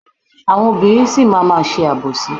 Àwọn obìnrin sì máa má ṣe àbòsí.